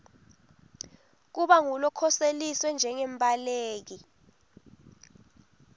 kuba ngulokhoseliswe njengembaleki